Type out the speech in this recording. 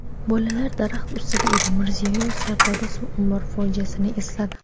bolalar daraxt ustida edi – Mirziyoyev Sardoba suv ombori fojiasini esladi.